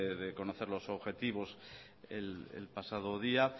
de conocer los objetivos el pasado día